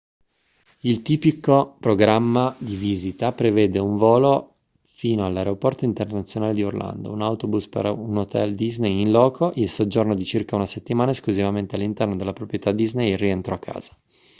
il tipico programma di visita prevede un volo fino all'aeroporto internazionale di orlando un autobus per un hotel disney in loco il soggiorno di circa una settimana esclusivamente all'interno della proprietà disney e il rientro a casa